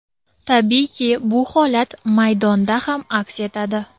Tabiiyki, bu holat maydonda ham aks etadi.